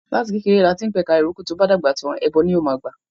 Láti kékeré lati ń p'ẹ̀ka ìrókò, tó'bá dàgbà tàń, ẹbọ ló máa gbà